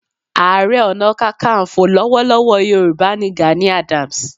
Ààrẹ Ọ̀nà Kakaǹfò lọ́wọ́lọ́wọ́ Yorùbá ni Gani Adams.